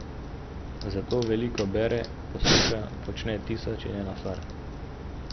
Zato veliko bere, posluša, počne tisoč in eno stvar ...